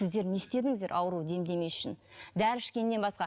сіздер не істедіңіздер ауруды демдемес үшін дәрі ішкеннен басқа